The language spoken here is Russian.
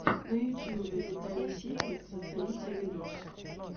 на ютубе виталий ситник зацените видос